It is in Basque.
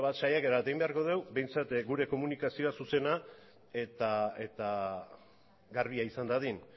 saiakera bat egin beharko dugu behintzat gure komunikazioa zuzena eta garbia izan dadin